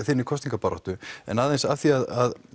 þinni kosningabaráttu en aðeins að því að